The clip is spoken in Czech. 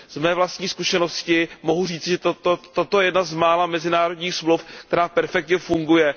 Z mé vlastní zkušenosti mohu říci, že toto je jedna z mála mezinárodních smluv, která perfektně funguje.